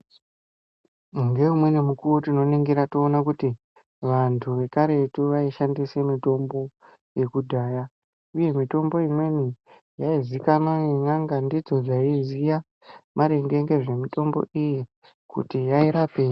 Ngeimweni mukuwo tinoningira kuti vantu vekaretu vaishendise mitombo yekudhaya uye mitombo imweni yazikanwa ngenyanga ndidzo dzaiziya maringe ngezvemitombo iyi kuti yaitapei .